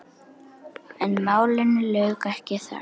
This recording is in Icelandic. En málinu lauk ekki þar.